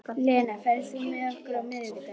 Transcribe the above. Lena, ferð þú með okkur á miðvikudaginn?